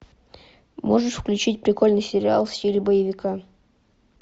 можешь включить прикольный сериал в стиле боевика